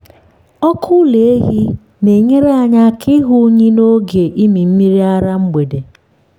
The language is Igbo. ọkụ ụlọ ehi na-enyere aka ịhụ unyi n’oge ịmị mmiri ara mgbede.